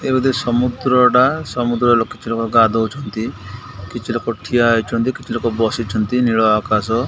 ଏ ବୋଧେ ସମୁଦ୍ର ଟା ସମୁଦ୍ରର ଲୋକ ଏଠି ଗାଧଉଛନ୍ତି କିଛି ଲୋକ ଠିଆ ହୋଇଛନ୍ତି କିଛି ଲୋକ ବସିଛନ୍ତି ନୀଳ ଆକାଶ --